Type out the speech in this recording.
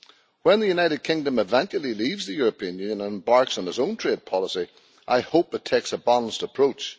When the United Kingdom eventually leaves the European Union and embarks on its own trade policy, I hope it takes a balanced approach.